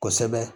Kosɛbɛ